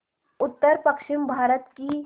उत्तरपश्चिमी भारत की